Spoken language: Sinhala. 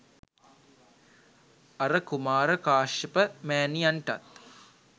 අර කුමාර කාශ්‍යප මෑණියන්ටත්